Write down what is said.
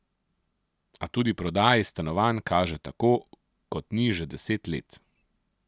A tudi prodaji stanovanj kaže tako, kot ni že deset let.